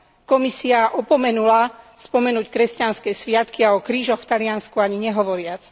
Komisia opomenula spomenúť kresťanské sviatky a o krížoch v Taliansku ani nehovoriac.